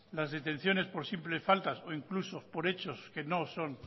las detenciones por simples faltas o incluso por hechos que no son